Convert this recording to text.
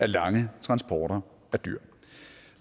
lange transporter af dyr